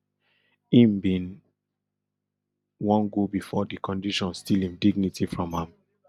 im bin wan go before di condition steal im dignity from am